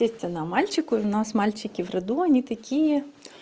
то есть она мальчику у нас мальчики в роду они такие